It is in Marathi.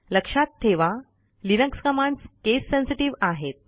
लक्षात ठेवा लिनक्स कमांडस् केस सेन्सेटिव्ह आहेत